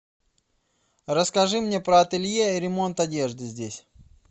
расскажи мне про ателье и ремонт одежды здесь